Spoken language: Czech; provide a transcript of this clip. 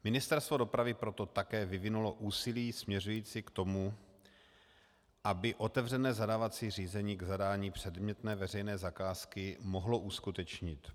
Ministerstvo dopravy proto také vyvinulo úsilí směřující k tomu, aby otevřené zadávací řízení k zadání předmětné veřejné zakázky mohlo uskutečnit.